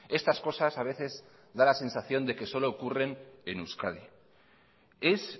estas cosas a veces da la sensación de que solo ocurren en euskadi es